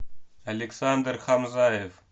александр хамзаев